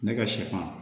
Ne ka sɛfan